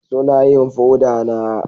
Suna yin foda na